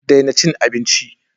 Daina cin abinchi.